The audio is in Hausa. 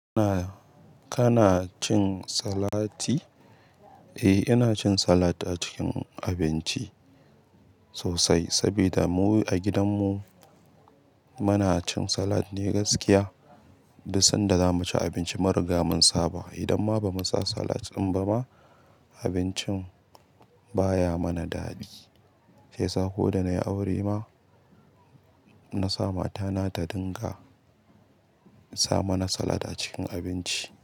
Kana cin salati? Eh, ina cin salat a cikin abinci sosai, sabida mu a gidan mu muna cin salat ne gaskiya. Duk sanda za mu ci abinci, mariga mun saba idan ma ba mu sa salat ɗin ba ma, abincin baya mana daɗi. Shi yasa ko da nayi aure ma na sa mata na ta dinga sa mana salat a ciki.